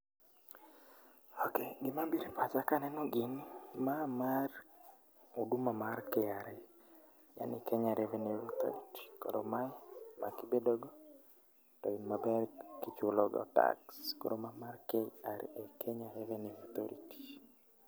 Ok, gima biro e pach akaneno gini ma mar oduma mar KRA, en Kenya Revenue Authority, koro mae ma kibedo go to in maber kichulo go tax. Koro ma mar KRA, Kenya Revenue Authority